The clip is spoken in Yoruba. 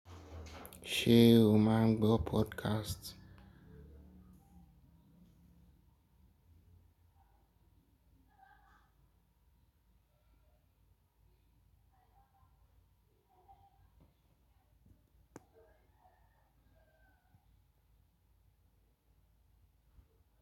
Ṣé o máa gbọ́ podcast?